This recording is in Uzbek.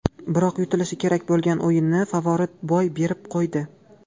Biroq yutilishi kerak bo‘lgan o‘yinni favorit boy berib qo‘ydi.